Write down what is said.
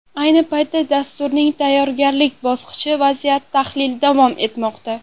Ayni paytda dasturning tayyorgarlik bosqichi vaziyat tahlili davom etmoqda.